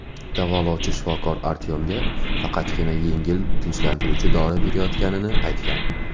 Davolovchi shifokor Artyomga faqatgina yengil tinchlantiruvchi dori berayotganini aytgan.